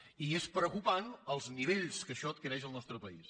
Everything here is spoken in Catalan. i és preocupant els nivells que això adquireix al nostre país